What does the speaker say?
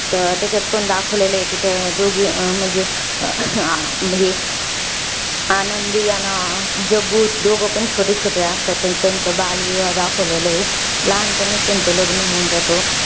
तर, त्याचात पण दाखवलेलं आहे कि, त्या दोघी अं म्हणजे, हे, आनंदी आणि जग्गू. दोघेपण छोटे छोटे असतात. अन त्यांचा बालविवाह दाखवलेला आहे. लहानपणीच त्याचं लग्न होऊन जातं.